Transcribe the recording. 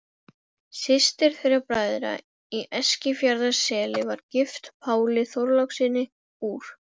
Systir þeirra bræðra í Eskifjarðarseli var gift Páli Þorlákssyni úr